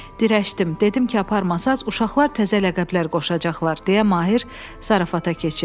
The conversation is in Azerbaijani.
Dirəşdim, dedim ki, aparmasanız uşaqlar təzə ləqəblər qoşacaqlar deyə Mahir zarafata keçir.